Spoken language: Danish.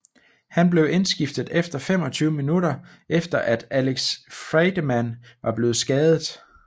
Han blev indskiftet efter 25 min efter at Alex Friedemann var blevet skadet